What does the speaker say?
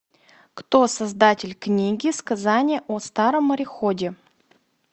кто создатель книги сказание о старом мореходе